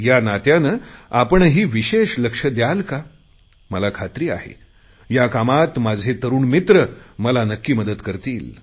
या नात्याने आपणही विशेष लक्ष दयाल का मला खात्री आहे या कामात माझे तरुण मित्र मला नक्की मदत करतील